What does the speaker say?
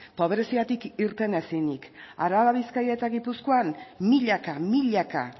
pobreziatik irten ezinik araba bizkaia eta gipuzkoan milaka milaka